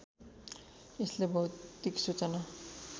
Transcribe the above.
यसले भौतिक सूचना